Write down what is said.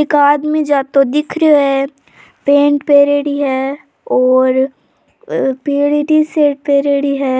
एक आदमी जातो दिख रियो है पेन्ट पहरेड़ी है औरपिली टी-शर्ट पहरेड़ी है